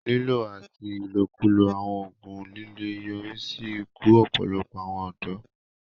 Lílò àti ìlòkulò àwọn oògùn líle ń yọrí sí ikú ọ̀pọ̀lọpọ̀ àwọn ọ̀dọ́